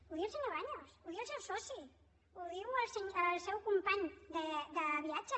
ho diu el senyor baños ho diu el seu soci ho diu el seu company de viatges